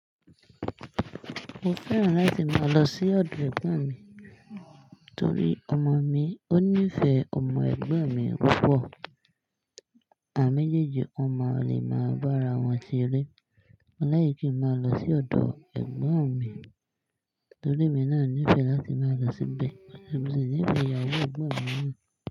Mo fẹ́ràn láti máa lọ sí ọ̀dọ̀ ẹ̀gbọ́n mi torí ọmọ mi ó nífẹ̀ẹ́ ọmọ ẹ̀gbọ́n mi púpọ̀ àwon mejeẹ́jẹ́ wọn máa le máa bára wọn sere. Mo láìki kí n máa lọ sí ọ̀dọ̀ ẹ̀gbọ́n mi torí emi náà nífẹ̀ẹ́ láti máa lọ síbẹ̀ so mo ṣì ní ìfẹ́ ìyàwó ẹ̀gbọ́n mi náà.